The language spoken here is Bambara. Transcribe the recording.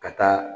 Ka taa